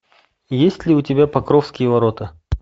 есть ли у тебя покровские ворота